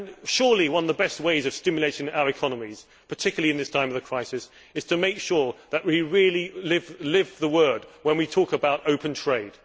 Surely one of the best ways of stimulating our economies, particularly in this time of crisis, is to make sure that we really live the word when we talk about open trade.